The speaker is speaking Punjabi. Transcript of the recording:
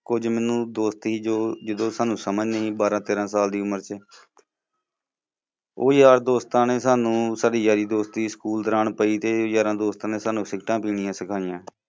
ਕੁਛਜ ਮੈਨੂੰ ਦੋਸਤੀ ਜੋ ਜਦੋਂ ਸਾਨੂੰ ਸਮਝ ਨੀ ਬਾਰਾਂ ਤੇਰਾਂ ਸਾਲ ਦੀ ਉਮਰ ਚ ਉਹ ਯਾਰ ਦੋਸਤਾਂ ਨੇ ਸਾਨੂੰ ਸਾਡੀ ਯਾਰੀ ਦੋਸਤੀ school ਦੌਰਾਨ ਪਈ ਤੇ ਯਾਰਾਂ ਦੋਸਤਾਂ ਨੇ ਸਾਨੂੰ ਸਿਗਰੇਟਤਾ ਪੀਣੀਆਂ ਸਿਖਾਈਆਂ